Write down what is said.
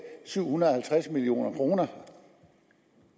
syv hundrede og halvtreds million kroner